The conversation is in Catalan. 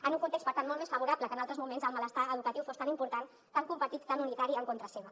en un context per tant molt més favorable que en altres moments el malestar educatiu fos tan important tan compartit i tan unitari en contra seva